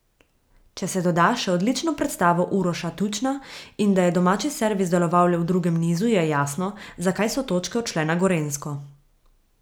Če se doda še odlično predstavo Uroša Tučna, in da je domači servis deloval le v drugem nizu, je jasno, zakaj so točke odšle na Gorenjsko.